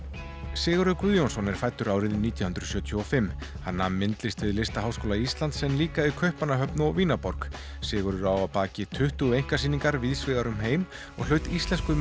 Sigurður Guðjónsson er fæddur árið nítján hundruð sjötíu og fimm hann nam myndlist við Listaháskóla Íslands en líka í Kaupmannahöfn og Vínarborg Sigurður á að baki tuttugu einkasýningar víðsvegar um heim og hlaut Íslensku